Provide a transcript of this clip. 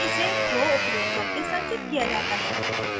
फिर इसे throw उपयोग करके संचित किया जाता है